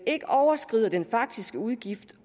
ikke overskrider den faktiske udgift